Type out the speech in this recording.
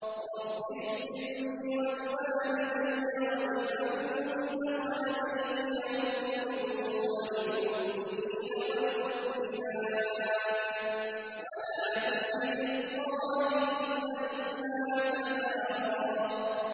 رَّبِّ اغْفِرْ لِي وَلِوَالِدَيَّ وَلِمَن دَخَلَ بَيْتِيَ مُؤْمِنًا وَلِلْمُؤْمِنِينَ وَالْمُؤْمِنَاتِ وَلَا تَزِدِ الظَّالِمِينَ إِلَّا تَبَارًا